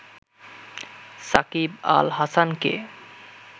সাকিব আল হাসানকে